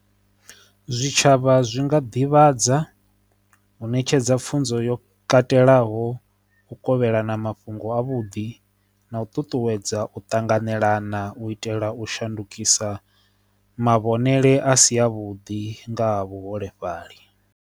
Zwitshavha zwi nga ḓivhadza u ṋetshedza pfunzo yo katelaho u kovhelana mafhungo a vhuḓi na u ṱuṱuwedza u tanganelana u itela u shandukisa mavhonele a si a vhuḓi nga vhuholefhali.